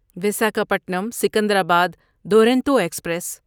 Visakhapatnam Secunderabad Duronto express